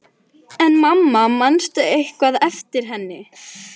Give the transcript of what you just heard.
En mamma, manstu eitthvað eftir henni?